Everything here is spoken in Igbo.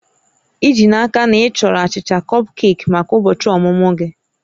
Ị ji n'aka na ị chọrọ achịcha kọpkeeki maka ụbọchị ọmụmụ gị?